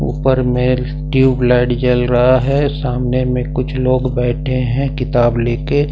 ऊपर मेल tube light जल रहा है सामने में कुछ लोग बैठे हैं किताब ले के।